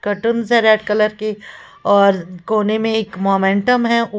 है red colour की और कोने में एक मोमेंटम है।